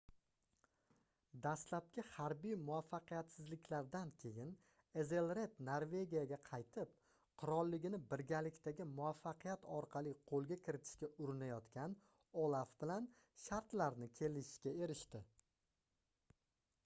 dastlabki harbiy muvaffaqiyatsizliklardan keyin ezelred norvegiyaga qaytib qirolligini birgalikdagi muvaffaqiyat orqali qoʻlga kiritishga urinayotgan olaf bilan shartlarni kelishishga erishdi